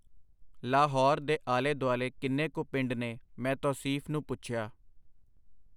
ਲਾਹੌਰ ਦੇ ਆਲੇ ਦੁਆਲੇ ਕਿੰਨੇ ਕੁ ਪਿੰਡ ਨੇ? ਮੈਂ ਤੌਸੀਫ਼ ਨੂੰ ਪੁੱਛਿਆ.